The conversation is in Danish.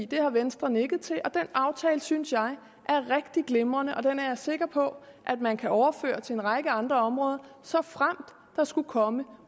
det har venstre nikket til og den aftale synes jeg er rigtig glimrende og den er jeg sikker på at man kan overføre til en række andre områder såfremt der skulle komme